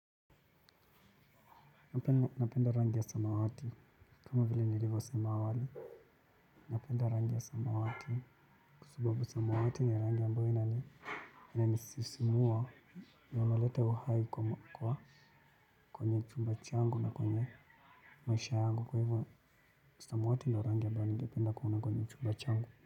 Napenda rangi ya samawati. Kama vile nilivosema awali. Napenda rangi ya samawati. Kwa sababu samawati ni rangi ambayo inanisisimua na yanaleta uhai kwa kwenye chumba changu na kwenye maisha yangu. Kwa hivyo samawati ndio rangi ambayo ningependa kuona kwenye chumba changu.